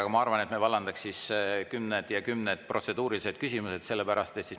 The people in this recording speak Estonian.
Aga ma arvan, et me vallandaks siis kümned ja kümned protseduurilised küsimused.